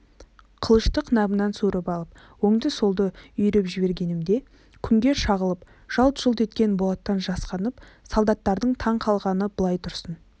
қылышты қынабынан суырып алып оңды-солды үйіріп жібергенімде күнге шағылып жалт-жұлт еткен болаттан жасқанып солдаттардың таң қалғаны былай тұрсын